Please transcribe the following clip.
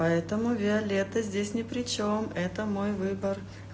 поэтому виолетта здесь не причём это мой выбор